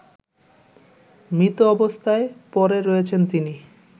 মৃত অবস্থায় পরে রয়েছেন তিনি